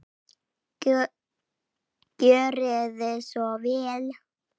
Gjörið þið svo vel.